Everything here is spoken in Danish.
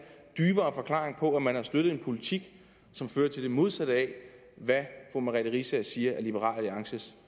dybere forklaring på at man har støttet en politik som fører til det modsatte af hvad fru merete riisager siger er liberal alliances